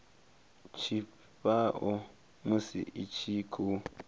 tshifhao musi i tshi khou